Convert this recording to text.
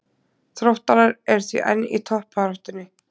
Þróttarar eru því enn í toppbaráttunni.